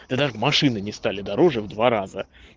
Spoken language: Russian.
да даже машины не стали дороже в два раза